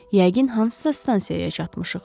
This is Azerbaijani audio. Yəqin hansısa stansiyaya çatmışıq.